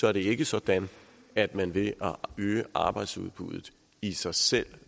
er det ikke sådan at man ved at øge arbejdsudbuddet i sig selv